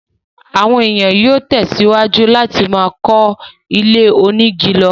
àwọn èèyàn yóò tẹ̀ síwájú láti máa kọ́ ilé onígi lọ.